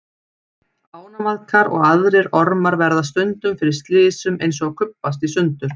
Ánamaðkar og aðrir ormar verða stundum fyrir slysum eins og að kubbast í sundur.